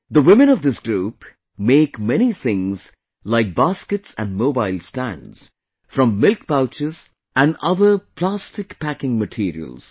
The women of this group make many things like baskets and mobile stands from milk pouches and other plastic packing materials